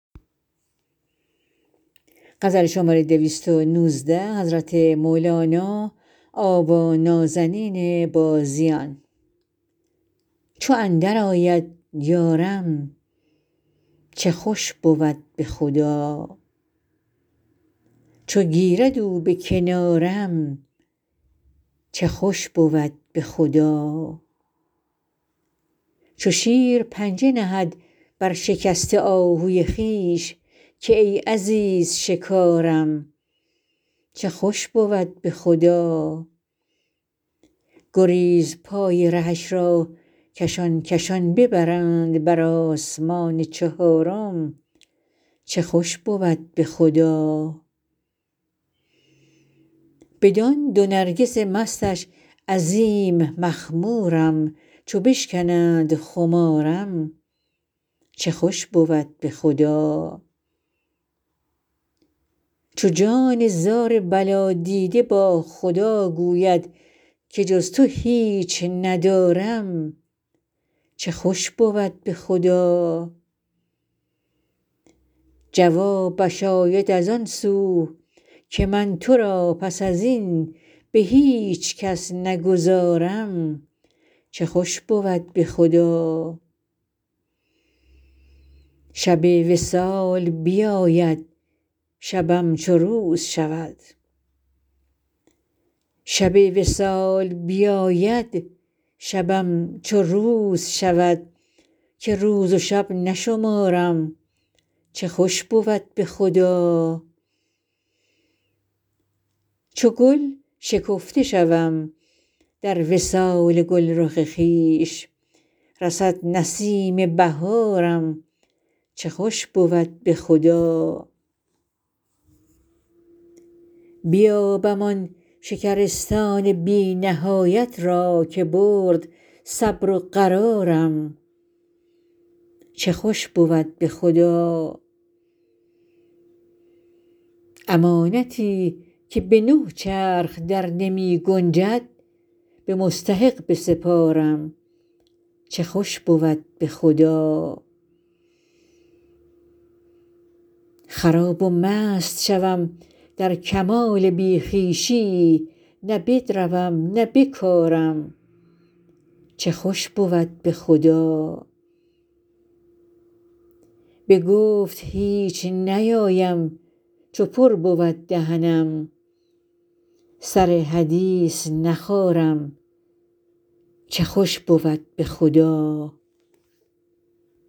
چو اندرآید یارم چه خوش بود به خدا چو گیرد او به کنارم چه خوش بود به خدا چو شیر پنجه نهد بر شکسته آهوی خویش که ای عزیز شکارم چه خوش بود به خدا گریزپای رهش را کشان کشان ببرند بر آسمان چهارم چه خوش بود به خدا بدان دو نرگس مستش عظیم مخمورم چو بشکنند خمارم چه خوش بود به خدا چو جان زار بلادیده با خدا گوید که جز تو هیچ ندارم چه خوش بود به خدا جوابش آید از آن سو که من تو را پس از این به هیچ کس نگذارم چه خوش بود به خدا شب وصال بیاید شبم چو روز شود که روز و شب نشمارم چه خوش بود به خدا چو گل شکفته شوم در وصال گلرخ خویش رسد نسیم بهارم چه خوش بود به خدا بیابم آن شکرستان بی نهایت را که برد صبر و قرارم چه خوش بود به خدا امانتی که به نه چرخ درنمی گنجد به مستحق بسپارم چه خوش بود به خدا خراب و مست شوم در کمال بی خویشی نه بدروم نه بکارم چه خوش بود به خدا به گفت هیچ نیایم چو پر بود دهنم سر حدیث نخارم چه خوش بود به خدا